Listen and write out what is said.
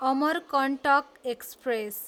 Amarkantak express